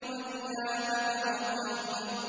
وَثِيَابَكَ فَطَهِّرْ